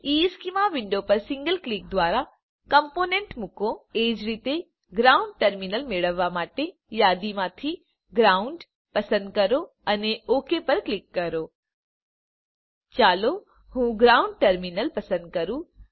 ઇશ્ચેમાં વિન્ડો પર single click દ્વારા કમ્પોનન્ટ મૂકો એ જ રીતે ગ્રાઉન્ડ ટર્મિનલ મેળવવા માટે યાદીમાંથી ગ્રાઉન્ડ પસંદ કરો અને ઓક પર ક્લિક કરો ચાલો હું ગ્રાઉન્ડ ટર્મિનલ પસંદ કરું